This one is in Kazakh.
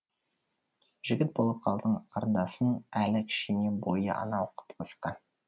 жігіт болып қалдың қарындасың әлі кішкене бойы анау қып қысқа